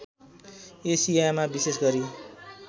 एसियामा विशेष गरी